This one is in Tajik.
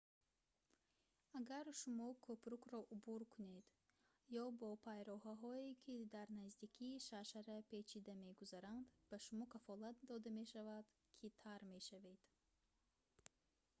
агар шумо кӯпрукро убур кунед ё бо пайроҳаҳое ки дар наздикии шаршара печида мегузаранд ба шумо кафолат дода мешавад ки тар мешавед